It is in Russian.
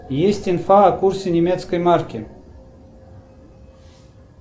есть инфа о курсе немецкой марки